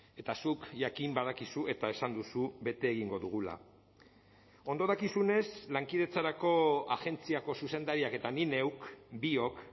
eta zuk jakin badakizu eta esan duzu bete egingo dugula ondo dakizunez lankidetzarako agentziako zuzendariak eta nik neuk biok